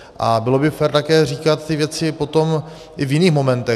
A bylo by také fér říkat ty věci potom i v jiných momentech.